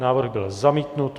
Návrh byl zamítnut.